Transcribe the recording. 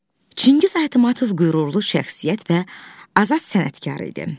Çingiz Aytmatov qürurlu şəxsiyyət və azad sənətkar idi.